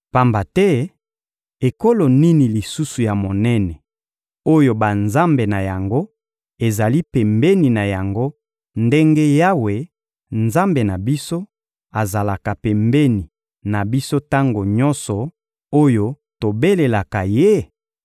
Pamba te ekolo nini lisusu ya monene, oyo banzambe na yango ezali pembeni na yango ndenge Yawe, Nzambe na biso, azalaka pembeni na biso tango nyonso oyo tobelelaka Ye?